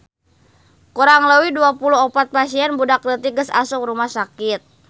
Kurang leuwih 24 pasien budak leutik geus asup rumah sakit